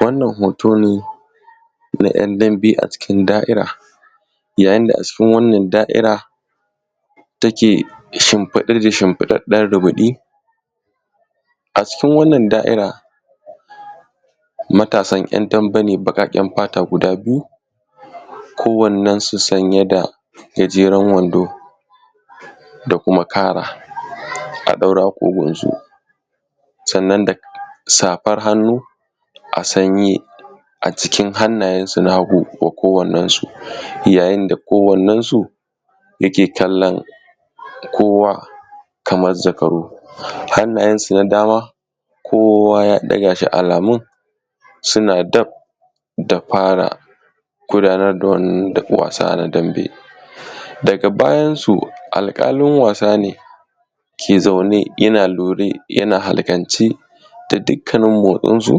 wannan hoto ne na ‘yan dambe a cikin da'ira yayin da a cikin wannan da'ira take shimfiɗe da shimfiɗaɗɗen rubuɗi a cikin wannan da'ira matasan ‘yan dambe ne baƙaƙen fata guda biyu ko wannensu sanye da gajeran wando da kuma kara a ɗaure a ƙugunsu sannan da safar hannu a sanye a cikin hannayensu na hagu kowannensu yayin da kowannensu yake kallon kowa kamar zakaru hannayensu na dama kowa ya ɗaga shi alamun suna daf da fara gudanar da wannan wasa na dambe daga bayansu alƙalin wasa ne ke zaune yana lure yana alƙanci da dukkanin motsin su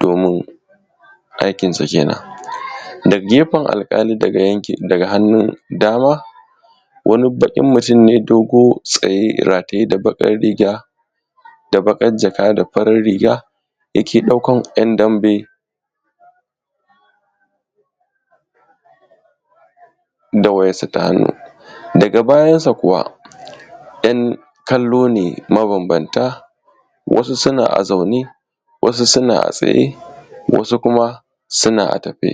domin aikin su kenan daga gefen alƙalin daga yankin daga hannun dama wani baƙin mutun ne dogo tsaye rataye da baƙar riga da baƙar jaka da farar riga yake ɗaukar ‘yan dambe da wayarsa ta hannu daga bayansa kuwa ‘yan kallo ne mabambanta wasu suna a zaune wasu suna a tsaye wasu kuma suna a tafe